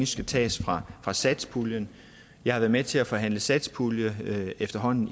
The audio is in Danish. skal tages fra fra satspuljen jeg har været med til at forhandle satspulje i efterhånden